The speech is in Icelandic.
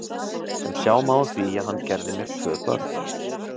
Sem sjá má á því að hann gerði mér tvö börn.